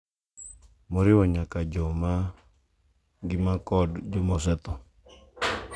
moriwo nyaka joma ngima kod joma osetho,